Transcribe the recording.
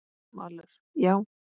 Valur: Já.